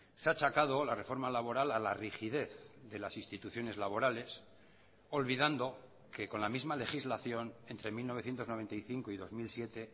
se ha achacado la reforma laboral a la rigidez de las instituciones laborales olvidando que con la misma legislación entre mil novecientos noventa y cinco y dos mil siete